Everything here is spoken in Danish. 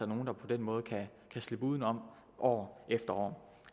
nogle der på den måde kan slippe udenom år efter år